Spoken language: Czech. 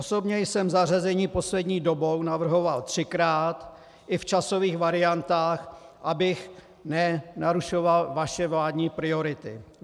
Osobně jsem zařazení poslední dobou navrhoval třikrát, i v časových variantách, abych nenarušoval vaše vládní priority.